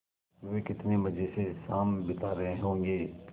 वे कितने मज़े से शाम बिता रहे होंगे